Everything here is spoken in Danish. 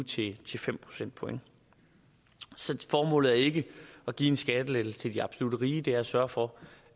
tyve til fem procentpoint så formålet er ikke at give en skattelettelse til de absolut rige det er at sørge for